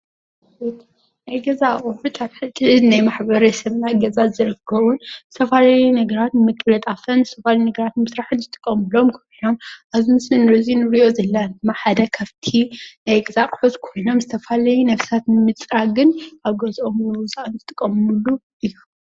ናይ ገዛ ኣቁሑት ኣብ ሕድሕድ ናይ ማሕበረሰብና ገዛ ዝርከቡን ዝተፈላለዩ ነገራት ንምቅልጣፍን ዝተፈላለዩ ነገራት ንሞስራሕን ዝጥቆሙሎም ኾይኖም ዝተፈላለዪ ነገራት ንምፅራግን ንምስራሕን ንጥቀሙሎም።።